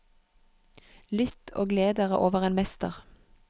Lytt og gled dere over en mester.